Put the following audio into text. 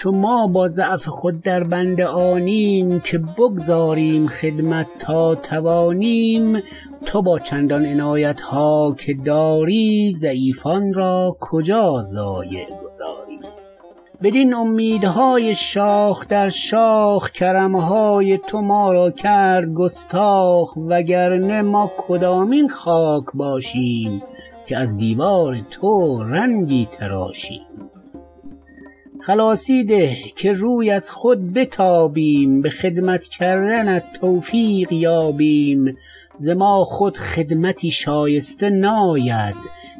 چو ما با ضعف خود در بند آنیم که بگذاریم خدمت تا توانیم تو با چندان عنایت ها که داری ضعیفان را کجا ضایع گذاری بدین امید های شاخ در شاخ کرم های تو ما را کرد گستاخ وگرنه ما کدامین خاک باشیم که از دیوار تو رنگی تراشیم خلاصی ده که روی از خود بتابیم به خدمت کردنت توفیق یابیم ز ما خود خدمتی شایسته ناید